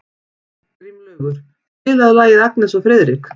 Grímlaugur, spilaðu lagið „Agnes og Friðrik“.